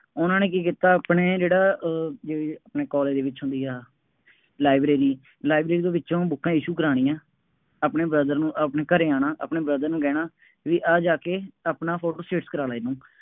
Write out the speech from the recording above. ਉਹਨਾ ਨੇ ਕੀ ਕੀਤਾ ਆਪਣੇ ਜਿਹੜਾ ਅਹ ਜਿਵੇਂ ਆਪਣੇ ਕਾਲਜ ਦੇ ਵਿੱਚ ਹੁੰਦੀ ਹੈ, ਲਾਈਬ੍ਰੇਰੀ, ਲਾਈਬ੍ਰੇਰੀ ਦੇ ਵਿੱਚੋਂ ਬੁੱਕਾਂ issue ਕਰਾਉਣੀਆ, ਆਪਣੇ brother ਨੂੰ, ਆਪਣੇ ਘਰੇ ਆਉਣਾ, ਆਪਣੇ brother ਨੂੰ ਕਹਿਣਾ, ਬਈ ਆਹ ਜਾ ਕੇ ਆਪਣਾ ਫੋਟੋ ਸਟੇਟ ਕਰਾਉਣਾ ਇਹਨੂੰ